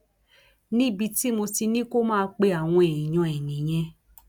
níbi tí mo ti ní kó máa pe àwọn èèyàn ẹ nìyẹn